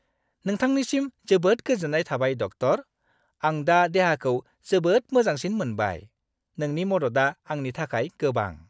नोंथांनिसिम जोबोद गोजोन्नाय थाबाय, डक्टर! आं दा देहाखौ जोबोद मोजांसिन मोनबाय। नोंनि मददआ आंनि थाखाय गोबां।